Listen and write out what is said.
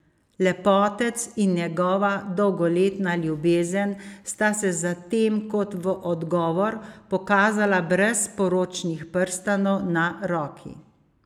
Lepotec in njegova dolgoletna ljubezen sta se zatem kot v odgovor pokazala brez poročnih prstanov na roki.